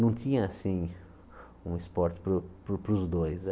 Não tinha, assim, um esporte para os para os para os dois.